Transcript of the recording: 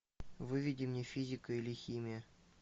выведи мне физика или химия